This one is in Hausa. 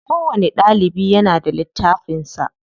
Kowani ɗalibi yana da littafin sa.